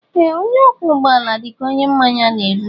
Ee onye ọkwọ ụgbọ ala dịka onye mmanya na-egbu.